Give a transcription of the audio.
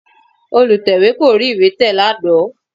Olùtẹ̀wé kò rí ìwé tẹ̀ lánàá